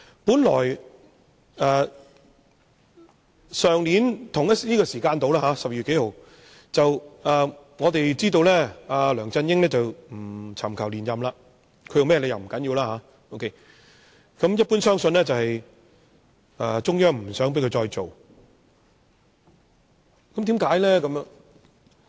去年差不多這個時間，在12月某天，我們得悉梁振英不尋求連任特首，其原因已不重要，一般相信中央政府不想他繼續當特首，為甚麼？